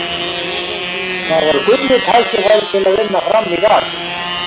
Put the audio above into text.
Það var gullið tækifæri til að vinna Fram í dag.